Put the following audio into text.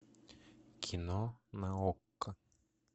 кино на окко